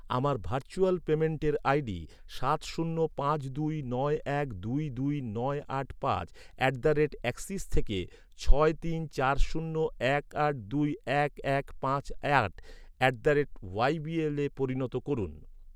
আমার ভার্চুয়াল পেমেন্টের আইডি সাত শূন্য পাঁচ দুই নয় এক দুই দুই নয় আট পাঁচ অ্যাট দ্য রেট অ্যাক্সিস থেকে ছয় তিন চার শূন্য এক আট দুই এক এক পাঁচ আট at the rate Y B L পরিণত করুন।